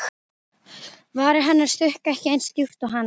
Varir hennar sukku ekki eins djúpt og hans.